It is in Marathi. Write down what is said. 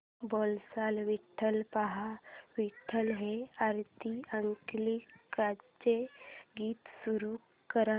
बोलावा विठ्ठल पहावा विठ्ठल हे आरती अंकलीकरांचे गीत सुरू कर